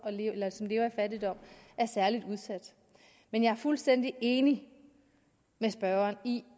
lever i fattigdom er særlig udsatte men jeg er fuldstændig enig med spørgeren i